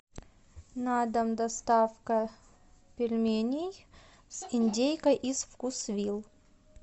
на дом доставка пельменей с индейкой из вкусвилл